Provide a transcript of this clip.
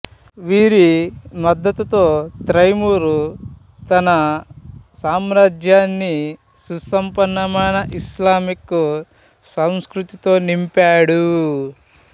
వీరి మద్దతుతో తైమూర్ తన సామ్రాజ్యాన్ని సుసంపన్నమైన ఇస్లామిక్ సంస్కృతితో నింపాడు